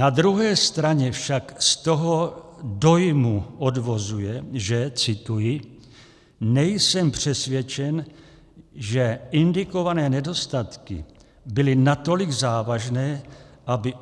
Na druhé straně však z toho dojmu odvozuje, že, cituji: nejsem přesvědčen, že indikované nedostatky byly natolik závažné, aby